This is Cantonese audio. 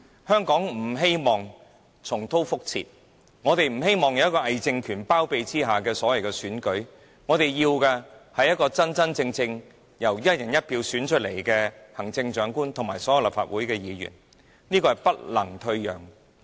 香港人不要任何在偽政權包庇下進行的選舉，我們要的是真真正正由"一人一票"選出來的行政長官和所有立法會議員，這點絕不能退讓。